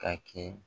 Ka kɛ